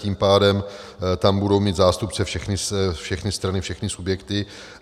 Tím pádem tam budou mít zástupce všechny strany, všechny subjekty.